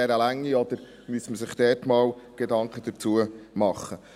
Oder müsste man sich dazu einmal Gedanken machen?